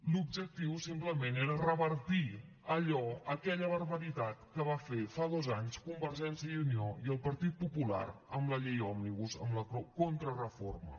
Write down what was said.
l’objectiu simplement era revertir allò aquella barbaritat que van fer fa dos anys convergència i unió i el partit popular amb la llei òmnibus amb la contrareforma